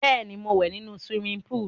Bẹ́ẹ̀ ni, mò ń wẹ̀ nínu siwimi póòlù.